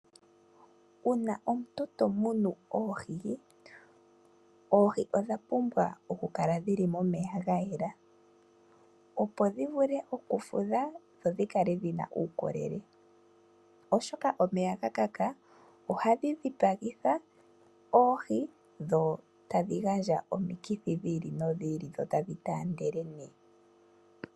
Uuna omuntu tomunu oohii, oohii odha pumbwa okukala dhili momeya gayela opo dhivule oku fudha dho dhikale dhina ukolele oshoka omeya gakaka oha dhi dhipangitha oohii dho tadhi gandja omikithi dhili no dhili dho tadhi tandele ne.